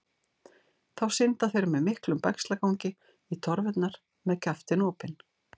Þá synda þeir með miklum bægslagangi í torfurnar með kjaftinn opinn.